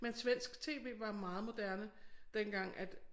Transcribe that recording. Men svensk tv var meget moderne dengang at